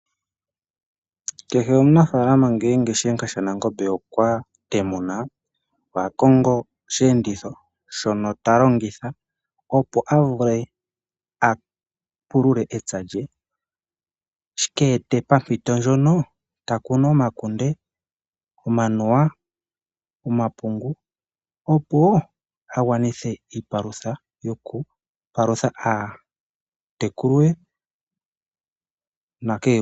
Kehe omunafaalama ngele shihenga shanangombe okwatemuna kehe omunafaalama ohakongo oshi enditho opo avule apulule epya lye shika ete pampito ndjono taking omakunde, omanuwa, omapungu opo agwanithe iipalutha yoku palutha aatekulu ye nakehe gumwe.